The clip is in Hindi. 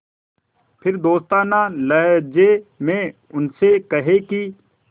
फिर दोस्ताना लहजे में उनसे कहें कि